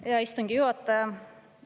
Hea istungi juhataja!